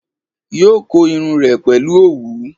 Yóò kó irun rẹ̀ pẹ̀lú òwú